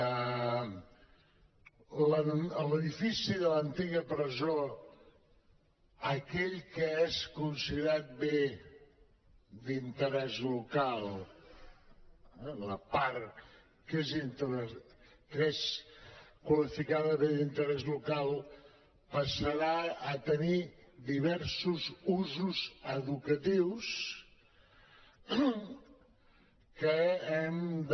a l’edifici de l’antiga presó aquell que és considerat bé d’interès local eh la part que és qualificada bé d’interès local passarà a tenir diversos usos educatius que hem de